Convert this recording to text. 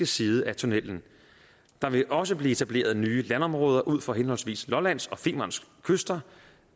side af tunnellen der vil også blive etableret nye landområder ud for henholdsvis lollands og femerns kyster